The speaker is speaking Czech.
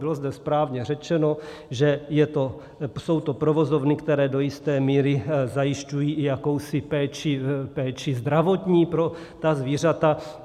Bylo zde správně řečeno, že jsou to provozovny, které do jisté míry zajišťují i jakousi péči zdravotní pro ta zvířata.